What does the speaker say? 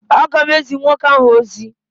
A ga m ezi nwoke ahụ ozi.